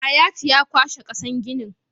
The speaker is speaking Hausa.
Hayatu ya kwashe kasar ginin